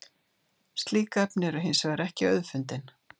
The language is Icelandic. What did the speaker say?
slík efni eru hins vegar ekki auðfundin